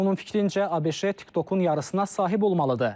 Onun fikrincə, ABŞ TikTokun yarısına sahib olmalıdır.